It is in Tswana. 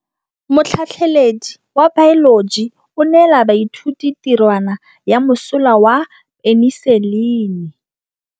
Motlhatlhaledi wa baeloji o neela baithuti tirwana ya mosola wa peniselene.